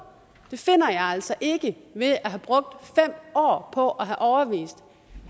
finder jeg altså ikke ved at have brugt fem år på at have overbevist